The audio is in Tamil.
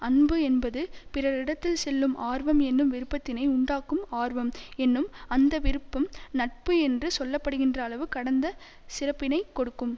அன்பு என்பது பிறரிடத்தில் செல்லும் ஆர்வம் என்னும் விருப்பத்தினை உண்டாக்கும் ஆர்வம் என்னும் அந்த விருப்பம் நட்பு என்று சொல்ல படுகின்ற அளவு கடந்த சிறப்பினை கொடுக்கும்